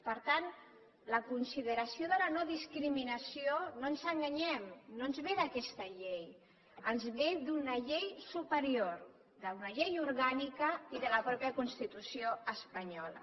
per tant la consideració de la no discriminació no ens enganyem no ens ve d’aquesta llei ens ve d’una llei superior d’una llei orgànica i de la mateixa constitució espanyola